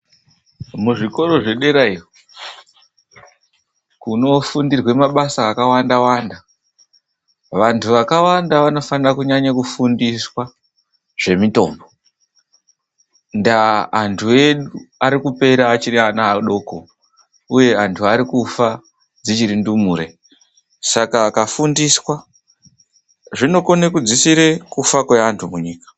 Muzvikora zvedera iyo kunofundirwa mabasa akawanda-wanda, vantu vakawanda vanofanira kunyanye kufundiswa zvemitombo, ndaa antu edu ari kupera achiri ana adoko, uye antu ari kufa dzichiri ndumure. Saka antu akafundiswa zvinokone kudzisire kufa kweantu munyika.